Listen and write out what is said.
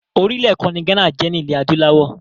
Orílẹ̀ kan ni Ghana jẹ́ ní ilé adúláwọ̀.